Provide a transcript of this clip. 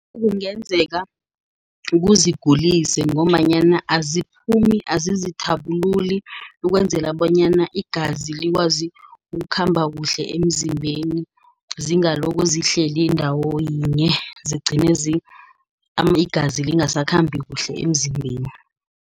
Kungenzeka kuzingulise ngombanyana aziphumi, azizithabululi, ukwenzela bonyana igazi likwazi ukukhamba kuhle emzimbeni. Zingalokho zihlezi ndawo yinye, zigcine igazi lingasakhambi kuhle emzimbeni.